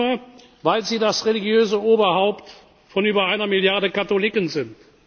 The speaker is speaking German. Nicht nur, weil Sie das religiöse Oberhaupt von über einer Milliarde Katholiken